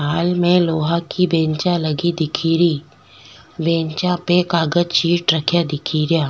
Hall में लोहा की बेंचा लगी दिखेरी बेंचा पे कागज चीट रख्या दिखेरिया।